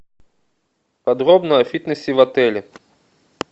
подробно о фитнесе в отеле